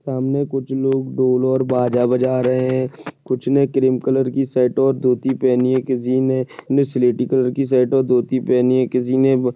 सामने कुछ लोग ढोल और बाजा बजा रहे हैं कुछ ने क्रीम कलर की शर्ट और धोती पहनी हुई है किसीने स्लेटी कलर की शर्ट और धोती पहनी हैं किसीने--